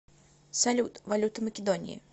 салют валюта македонии